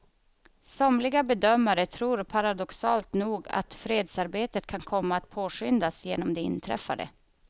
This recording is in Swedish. Somliga bedömare tror paradoxalt nog att fredsarbetet kan komma att påskyndas genom det inträffade.